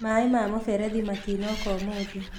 Maĩ ma mũberethi matinoka ũmũthĩ